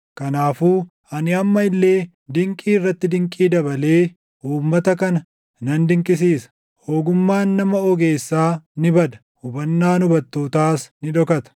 Kanaafuu ani amma illee dinqii irratti dinqii dabalee uummata kana nan dinqisiisa; ogummaan nama ogeessaa ni bada; hubannaan hubattootaas ni dhokata.”